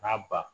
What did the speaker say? N'a ba